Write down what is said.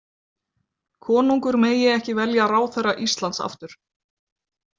Konungur megi ekki velja ráðherra Íslands aftur.